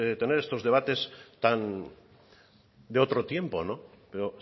tener estos debates tan de otro tiempo pero